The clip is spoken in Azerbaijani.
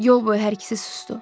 Yol boyu hər ikisi susdu.